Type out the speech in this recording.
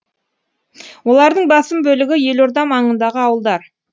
олардың басым бөлігі елорда маңындағы ауылдар